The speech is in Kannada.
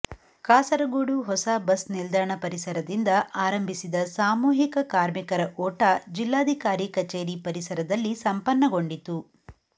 ಕಾಸರಗೋಡು ಹೊಸ ಬಸ್ ನಿಲ್ದಾಣ ಪರಿಸರದಿಂದ ಆರಂಭಿಸಿದ ಸಾಮೂಹಿಕ ಕಾರ್ಮಿಕರ ಓಟ ಜಿಲ್ಲಾಧಿಕಾರಿ ಕಚೇರಿ ಪರಿಸರದಲ್ಲಿ ಸಂಪನ್ನಗೊಂಡಿತು